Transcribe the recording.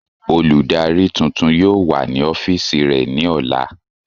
Oludari tuntun yóò wa ni ọfiisi rẹ ni ọla.